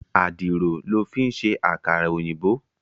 Àdìrò lò fin sé àkárà-óyinbó